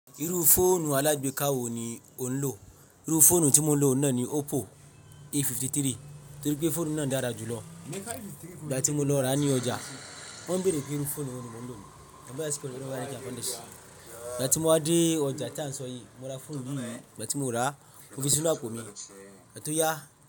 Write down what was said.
Irú fóònù alágbèéká wo ni ò ń lò? Irú fóònù tí mo ń lò náà ni Oppo A53, torí pé fóònù náà dára jù lọ. Ìgbà tí mo lọ ra á ní ọjà, wọ́n bèrè pé irú fóònù wo ni mo ń lò. Ìgbà tí mo wá dé ọjà tán sọ́yìí, mo ra fóònù yìí yìí. Ìgbà tí mo rà á, ó fi sí inú apò mi, igba to ya.